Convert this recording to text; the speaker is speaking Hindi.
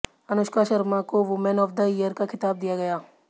अनुष्का शर्मा को वुमेन ऑफ द ईयर का खिताब दिया गया